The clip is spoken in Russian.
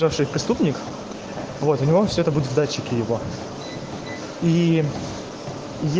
преступник вот он все это будет в датчике его и